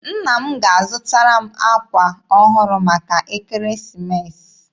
Nna m ga-azụtara m akwa ọhụrụ maka Ekeresimeesi.